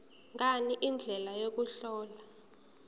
ngani indlela yokuhlola